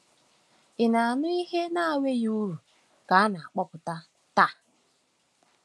Ị̀ na-anụ ihe na-enweghị uru ka a na-akpọpụta taa?